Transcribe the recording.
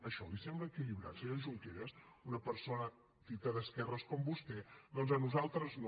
això li sembla equilibrat senyor junqueras a una persona dita d’esquerres com vostè doncs a nosaltres no